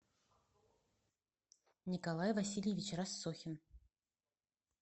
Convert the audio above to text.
николай васильевич рассохин